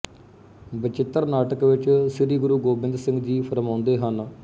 ਬਚਿੱਤਰ ਨਾਟਕ ਵਿੱਚ ਸ੍ਰੀ ਗੁਰੂ ਗੋਬਿੰਦ ਸਿੰਘ ਜੀ ਫ਼ੁਰਮਾਉਂਦੇ ਹਨ